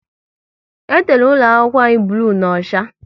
E tere ụlọ akwụkwọ anyị bloo na ocha